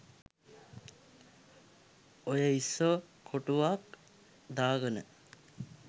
ඔය ඉස්සො කොටුවක් දාගන